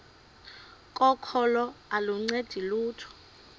kokholo aluncedi lutho